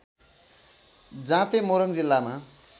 जाँते मोरङ जिल्लामा